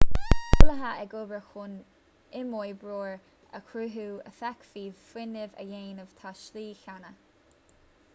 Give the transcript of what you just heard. tá eolaithe ag obair chun imoibreoir a chruthú a fhéadfaidh fuinneamh a dhéanamh sa tslí chéanna